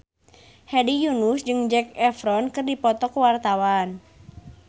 Hedi Yunus jeung Zac Efron keur dipoto ku wartawan